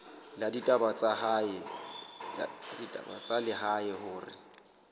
la ditaba tsa lehae hore